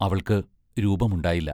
അവൾക്ക്‌ രൂപമുണ്ടായില്ല.